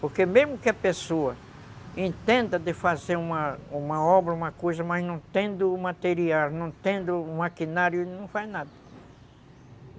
Porque mesmo que a pessoa entenda de fazer uma uma obra, uma coisa, mas não tendo o material, não tendo o maquinário, não faz nada.